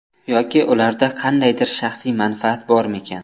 Yoki ularda qandaydir shaxsiy manfaat bormikan?